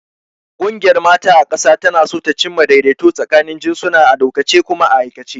Ƙungiyar mata ta ƙasa tana so ta cimma daidaito tsakanin jinsuna a dokance kuma a aikace.